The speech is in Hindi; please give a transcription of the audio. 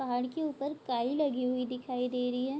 पहाड़ के ऊपर काई लगी हुई दिखाई दे रही है।